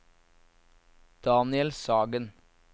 Daniel Sagen